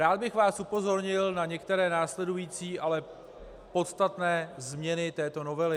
Rád bych vás upozornil na některé následující, ale podstatné změny této novely.